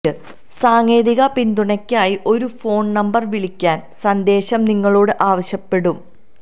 സാങ്കേതിക പിന്തുണയ്ക്കായി ഒരു ഫോൺ നമ്പർ വിളിക്കാൻ സന്ദേശം നിങ്ങളോട് ആവശ്യപ്പെടും